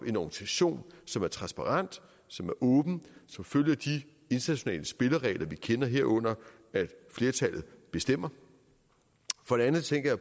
en organisation som er transparent som er åben som følger de internationale spilleregler vi kender herunder at flertallet bestemmer for det andet tænker